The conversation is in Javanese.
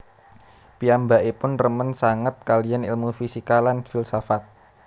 Piyambakipun remen sanget kaliyan ilmu fisika lan filsafat